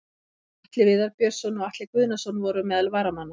Atli Viðar Björnsson og Atli Guðnason voru meðal varamanna.